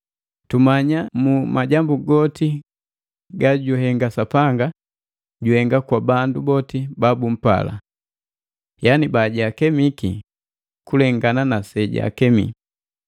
Tumanya mu majambu goti gajuhenga Sapanga juhenga kwa bandu boti babumpala, yaani bajaakemiki kulengana na sejaakemi.